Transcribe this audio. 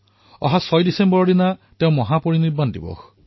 ৬ ডিচেম্বৰত তেওঁৰ মহাপৰিনিৰ্বাণ দিবস